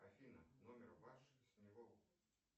афина номер ваш с него